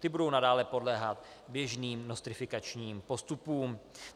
Ty budou nadále podléhat běžným nostrifikačním postupům.